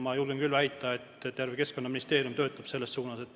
Ma julgen väita, et terve Keskkonnaministeerium töötab selles suunas.